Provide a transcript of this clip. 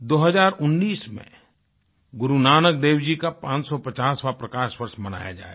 2019 में गुरु नानक देव जी का 550वाँ प्रकाश पर्व मनाया जाएगा